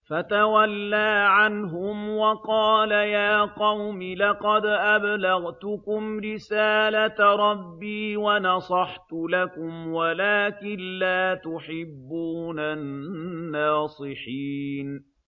فَتَوَلَّىٰ عَنْهُمْ وَقَالَ يَا قَوْمِ لَقَدْ أَبْلَغْتُكُمْ رِسَالَةَ رَبِّي وَنَصَحْتُ لَكُمْ وَلَٰكِن لَّا تُحِبُّونَ النَّاصِحِينَ